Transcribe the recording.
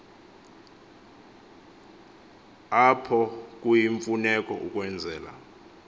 apho kuyimfuneko ukwenzela